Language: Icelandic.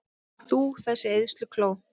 Þú, þessi eyðslukló!